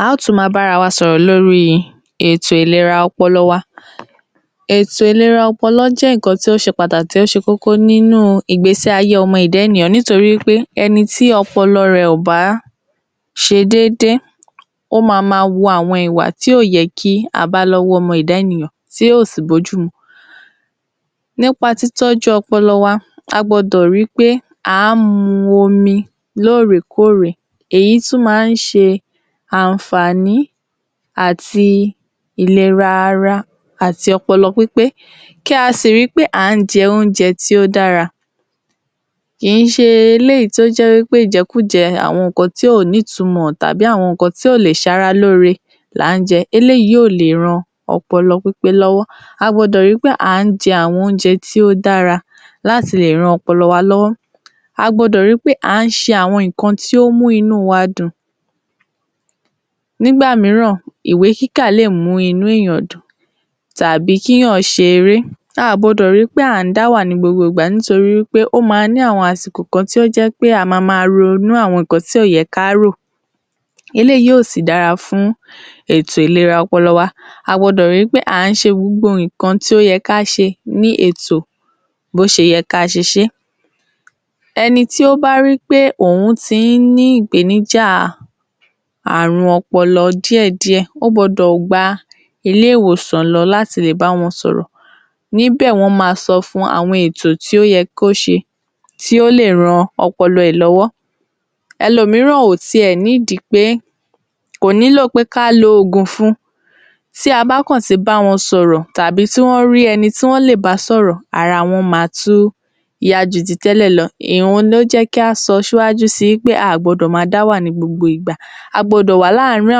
A óò tún máa bá ara wa sọ̀rọ̀ lórí ètò ìlera ọpọlọ wa. Ètò ìlera ọpọlọ jẹ́ nǹkan tí ó ṣe pàtàkì tí ó ṣe kókó nínú ìgbésí-ayé ọmọ ẹ̀dá ènìyàn nítorí pé ẹni tí ọpọlọ rẹ̀ ò bá ṣe déédé, ó máa máa wu àwọn ìwà tí ò yẹ kí a bá lọ́wọ́ ọmọ ẹ̀dá ènìyàn tí ò sì bójúmu. Nípa títọ́jú ọpọlọ wa, a gbọ́dọ̀ ri pé à ń mu omi lóòrèkóòrè, èyí tún máa ń ṣe àǹfààní àti ìlera ara àti ọpọlọ pípé, kí a sì ri wí pé à ń jẹ oúnjẹ tí ó dára, kìí ṣe eléyìí tí ó jẹ́ wí pé ìjẹkújẹ, àwọn nǹkan tí kò ní ìtumọ̀ tàbí àwọn nǹkan tí kò lè ṣara lóore là ń jẹ, eléyìí kò le ran ọpọlọ pípé lọ́wọ́, a gbọ́dọ̀ ri pé à ń jẹ àwọn oúnjẹ tí ó dára láti lè ran ọpọlọ wa lọ́wọ́. A gbọ́dọ̀ ri pé à ń ṣe àwọn nǹkan tí ó ń mú inú wa dùn nígbà mìíràn ìwé kíkà lè mú inú ènìyàn dùn tàbí kí ènìyàn ṣe eré, a à gbọ́dọ̀ ri pé à ń dáwà ní gbogbo ìgbà nítorí wí pé a máa ní àwọn àsìkò kan tí ó jẹ́ pé a máa máa ronú àwọn nǹkan tí kò yẹ ká rò, eléyìí ò sì dára fún ètò ìlera ọpọlọ wa a gbọ́dọ̀ ri pé à ń ṣe gbogbo nǹkan tí ó yẹ kí a ṣe ní ètò bí ó ṣe yẹ kí a ṣe ṣé é. Ẹni tí ó bá ri pé òun ti ń ní ìpèníjà àrùn ọpọlọ díẹ̀díẹ̀ ó gbọ́dọ̀ gba ilé-ìwòsàn lọ láti lè bá wọn sọ̀rọ̀, níbẹ̀ wọ́n máa ń sọ fun àwọn ètò tí ó yẹ kí ó se tí ó lè ran ọpọlọ rẹ̀ lọ́wọ́. Ẹlòmíràn kò nílò pé kí a lo oògùn fun, tí a bá kàn ti bá wọn sọ̀rọ̀ tàbí tí wọ́n rí ẹni tí wọ́n lè bá sọ̀rọ̀ ara wọn ma tún yá ju ti tẹ́lẹ̀ lọ, òhun ni ó jẹ́ kí a sọ ṣíwájú si pé a ò gbọdọ̀ máa dá wà ní gbogbo ìgbà, a gbọ́dọ̀ wà láàárin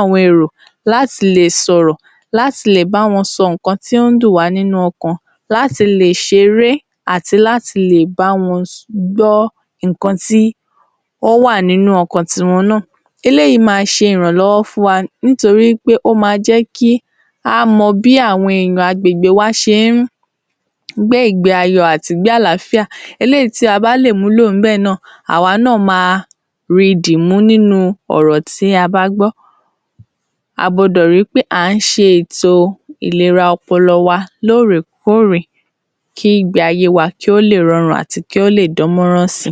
àwọn èrò láti lè sọ̀rọ̀, láti lè bá wọn sọ nǹkan tí ó dùn wá nínú ọkàn, láti lè ṣeré àti láti lè bá wọn gbọ́ nǹkan tí ó wà nínú ọkàn tiwọn náà, eléyìí máa ṣe ìrànlọ́wọ́ fún wa nítorí wí pé ó máa jẹ́ kí a mọ bí àwọn ènìyàn agbègbè wa ṣe ń gbé ìgbé-ayé wọn àti igbé àlááfíà eléyìí tí a bá lè mú lò níbẹ̀ náà àwa náà máa ri dìmú nínú ọ̀rọ̀ tí a bá gbọ́. A gbọ́dọ̀ ri pé à ń ṣe ètò ìlera ọpọlọ wa lóòrèkóòrè kí ìgbé-ayé wa kí ó lè rọrùn àti kí ó lè dánmọ́rán si.